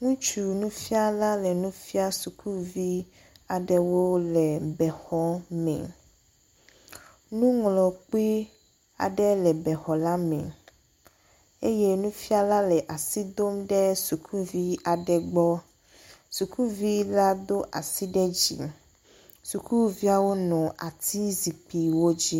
Ŋutsu nufiala aɖe le nu fiam sukuvi aɖewo le bexɔ me. Nuŋlɔkpi aɖe le bexɔ la me eye nufiala le asi dom ɖe sukuvi aɖe gbɔ. Sukuvi la do asi ɖe dzi. Sukuviawo nɔ ati zikpuiwo dzi.